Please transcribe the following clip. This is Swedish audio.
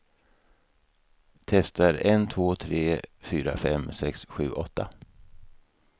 Testar en två tre fyra fem sex sju åtta.